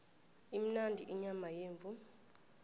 imnandi inyama yemvu